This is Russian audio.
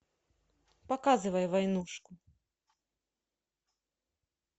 показывай войнушку